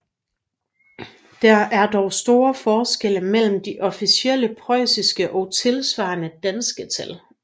Der er dog store forskelle mellem de officielle preussiske og tilsvarende danske tal